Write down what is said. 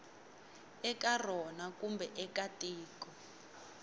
eka rona kumbe eka tiko